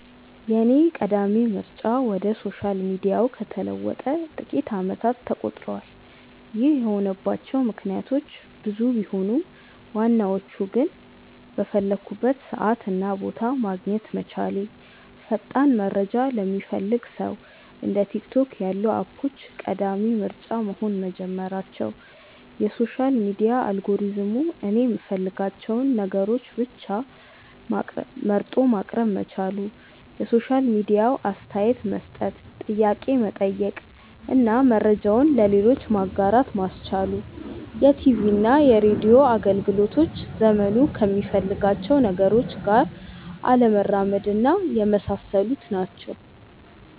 የኔ ቀዳሚ ምርጫ ወደ ሶሻል ሚዲያው ከተለወጠ ጥቂት አመታት ተቆጥረዋል። ይህ የሆነባቸው ምክንያቶች ብዙ ቢሆኑም ዋናዎቹ ግን:- በፈለኩበት ሰዓት እና ቦታ ማግኘት መቻሌ፣ ፈጣን መረጃ ለሚፈልግ ሰው እንደ ቲክቶክ ያሉ አፖች ቀዳሚ ምርጫ መሆን መጀመራቸው፣ የሶሻል ሚዲያ አልጎሪዝሙ እኔ የምፈልጋቸውን ነገሮች ብቻ መርጦ ማቅረብ መቻሉ፣ የሶሻል ሚዲያው አስተያየት መስጠት፣ ጥያቄ መጠየቅ እና መረጃውን ለሌሎች ማጋራት ማስቻሉ፣ የቲቪና ሬድዮ አገልግሎቶች ዘመኑ ከሚፈልጋቸው ነገሮች ጋር አለመራመድና የመሳሰሉት ናቸው።